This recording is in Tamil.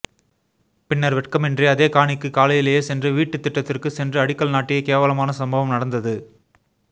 பின்னர் வெட்கமின்றி அதே காணிக்கு காலையிலேயே சென்று வீட்டுத் திட்டத்திற்கு சென்று அடிக்கல் நாட்டிய கேவலமான சம்பவம் நடந்தது